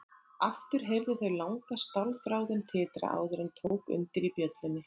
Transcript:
Aftur heyrðu þau langa stálþráðinn titra áður en tók undir í bjöllunni.